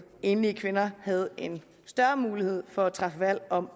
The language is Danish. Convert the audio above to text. enlige kvinder havde en større mulighed for at træffe valg om